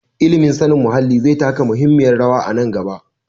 Ilimin sanin muhalli zai taka muhimmiyar rawa a nan gaba.